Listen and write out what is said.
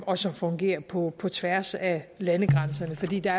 og som fungerer på på tværs af landegrænserne fordi der